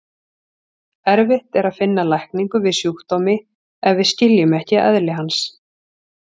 Erfitt er að finna lækningu við sjúkdómi ef við skiljum ekki eðli hans.